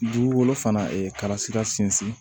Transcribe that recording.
Dugukolo fana kalasira sinsin